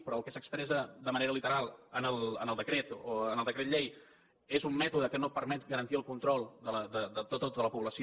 però el que s’expressa de manera literal en el decret o en el decret llei és un mètode que no permet garantir el control de tota la població